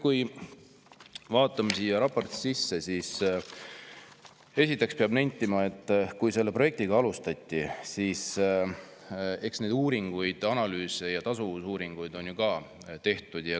Kui me vaatame seda raportit, siis esiteks peab nentima, et kui selle projektiga alustati, siis eks neid uuringuid, analüüse ja tasuvusuuringuid oli ju ka tehtud.